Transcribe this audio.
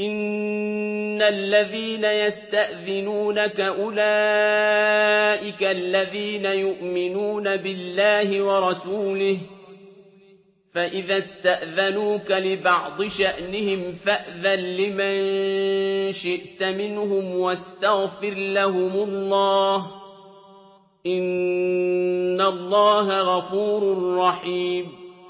إِنَّ الَّذِينَ يَسْتَأْذِنُونَكَ أُولَٰئِكَ الَّذِينَ يُؤْمِنُونَ بِاللَّهِ وَرَسُولِهِ ۚ فَإِذَا اسْتَأْذَنُوكَ لِبَعْضِ شَأْنِهِمْ فَأْذَن لِّمَن شِئْتَ مِنْهُمْ وَاسْتَغْفِرْ لَهُمُ اللَّهَ ۚ إِنَّ اللَّهَ غَفُورٌ رَّحِيمٌ